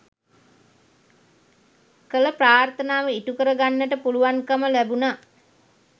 කළ ප්‍රාර්ථනාව ඉටුකර ගන්නට පුළුවන්කම ලැබුණා